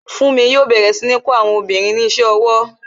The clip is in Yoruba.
Funmi yo bẹ̀rẹ̀ sí ní kó àwọn obìnrin ní ise owó